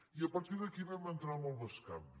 i a partir d’aquí vam entrar en el bescanvi